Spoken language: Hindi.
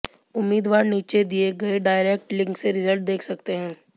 उम्मीदवार नीचे दिए गए डायरेक्ट लिंक से रिजल्ट देख सकते हैं